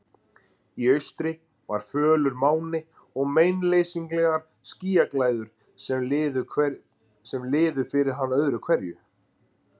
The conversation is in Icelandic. Í austri var fölur máni og meinleysislegar skýjaslæður sem liðu fyrir hann öðru hverju.